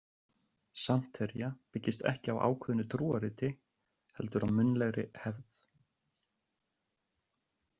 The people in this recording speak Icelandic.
Santería byggist ekki á ákveðnu trúarriti heldur á munnlegri hefð.